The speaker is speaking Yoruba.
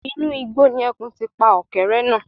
Inú igbó ni ẹkùn ti ń pa ọ̀kẹ́rẹ́ náà